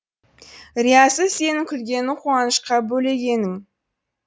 риясыз сенің күлгенін қуанышқа бөлегенің